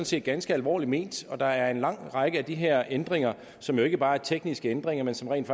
set ganske alvorligt ment og der er en lang række af de her ændringer som ikke bare er tekniske ændringer men som rent